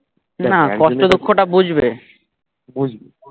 না কষ্ট দুঃখ টা বুঝবে, বুঝবে